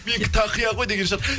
менікі тақия ғой деген шығар